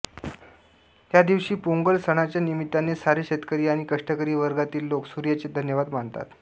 ह्या दिवशी पोंगल सणाच्या निमित्ताने सारे शेतकरी आणि कष्टकरी वर्गातील लोक सूर्याचे धन्यवाद मानतात